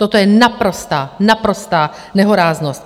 Toto je naprostá, naprostá nehoráznost!